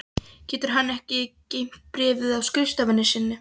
Getur hann ekki geymt bréfið á skrifstofunni sinni?